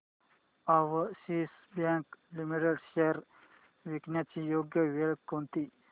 Axis bank limited shares विकण्याची योग्य वेळ कोणती